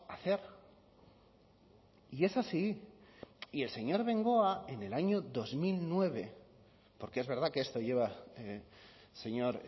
hacer y es así y el señor bengoa en el año dos mil nueve porque es verdad que esto lleva señor